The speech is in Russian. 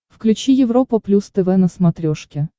включи европа плюс тв на смотрешке